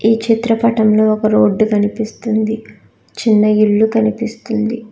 ఈ చిత్రపటంలో ఒక రోడ్డు కనిపిస్తుంది చిన్న ఇల్లు కనిపిస్తుంది.